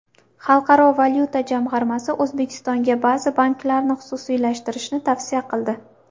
Xalqaro valyuta jamg‘armasi O‘zbekistonga ba’zi banklarni xususiylashtirishni tavsiya qildi.